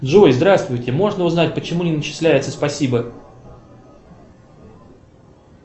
джой здравствуйте можно узнать почему не начисляется спасибо